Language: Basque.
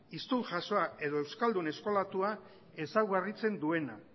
hiztun jasoa edo euskaldun eskolatua ezaugarritzen duena